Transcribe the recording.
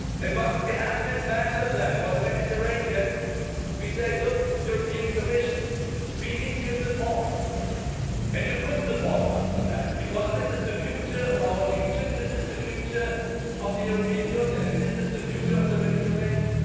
Once we have this master plan for the Mediterranean we say, look, European Commission, we need your support, and you could support us on that because this is the future of our region, this is the future of the European Union and this is the future of the Mediterranean.